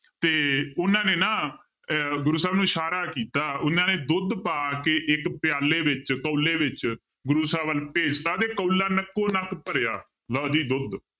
ਤੇ ਉਹਨਾਂ ਨੇ ਨਾ ਅਹ ਗੁਰੂ ਸਾਹਿਬ ਨੂੰ ਇਸ਼ਾਰਾ ਕੀਤਾ ਉਹਨਾਂ ਨੇ ਦੁੱਧ ਪਾ ਕੇ ਇੱਕ ਪਿਆਲੇ ਵਿੱਚ ਕੋਲੇ ਵਿੱਚ ਗੁਰੂ ਸਾਹਿਬ ਵੱਲ ਭੇਜ ਦਿੱਤਾ ਤੇ ਕੋਲਾ ਨੱਕੋ ਨੱਕ ਭਰਿਆ, ਲਓ ਜੀ ਦੁੱਧ